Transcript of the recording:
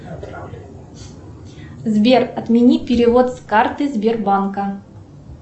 сбер отмени перевод с карты сбербанка